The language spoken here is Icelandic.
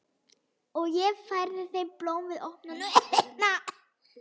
Og ég færði þeim blóm við opnunina.